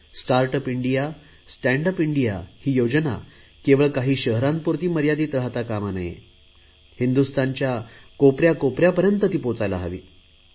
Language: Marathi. start up India stand up India ही योजना केवळ काही शहरांपुरती मर्यादित राहता कामा नये हिंदुस्थानच्या कोनाकोपऱ्यापर्यंत पोहोचायला हवी